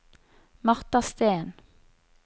Martha Steen